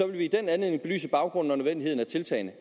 man i den anledning belyse baggrunden og nødvendigheden af tiltagene